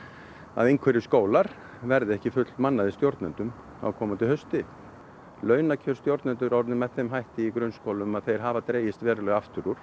að einhverjir skólar verði ekki stjórnendum á komandi hausti launakjör stjórnenda eru orðin með þeim hætti í grunnskólum að þeir hafa dregist verulega aftur úr